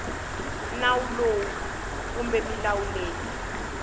nawu lowu kumbe milawu leyi